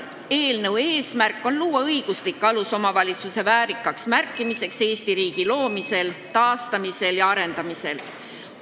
Eelnõu eesmärk on luua õiguslik alus, märkimaks väärikalt omavalitsuse rolli Eesti riigi loomisel, taastamisel ja arendamisel.